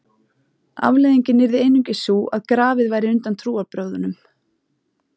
Afleiðingin yrði einungis sú að grafið væri undan trúarbrögðunum.